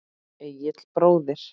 Egill bróðir.